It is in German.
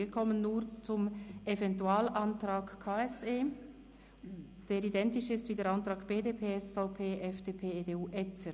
Wir kommen nun zum Eventualantrag KSE Bern, der identisch ist mit dem Antrag BDP/SVP/FDP/ EDU – Etter: